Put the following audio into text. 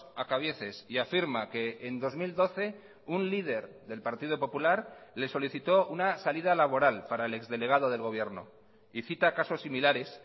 a cabieces y afirma que en dos mil doce un líder del partido popular le solicitó una salida laboral para el ex delegado del gobierno y cita casos similares